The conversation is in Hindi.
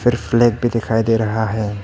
फ्लैग भी दिखाई दे रहा है।